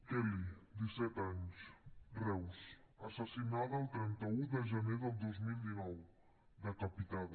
kelly disset anys reus assassinada el trenta un de gener del dos mil dinou decapitada